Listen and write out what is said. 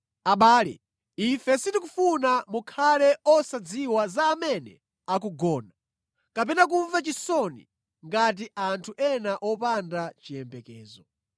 Abale, ife sitikufuna mukhale osadziwa za amene akugona, kapena kumva chisoni ngati anthu ena opanda chiyembekezo.